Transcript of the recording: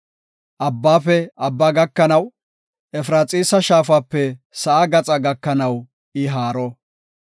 Abbaafe abba gakanaw, Efraxiisa shaafape sa7aa gaxa gakanaw I haaro.